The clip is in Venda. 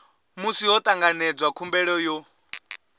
musi ho tanganedzwa khumbelo yo